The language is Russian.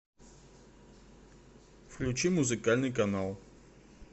включи музыкальный канал